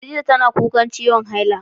Khaɗijah tana kuƙan ciwon haila.